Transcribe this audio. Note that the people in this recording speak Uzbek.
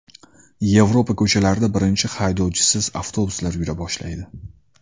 Yevropa ko‘chalarida birinchi haydovchisiz avtobuslar yura boshlaydi.